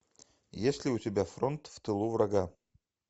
есть ли у тебя фронт в тылу врага